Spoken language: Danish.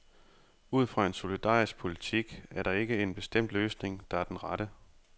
Ud fra en solidarisk politik er der ikke en bestemt løsning, der er den rette.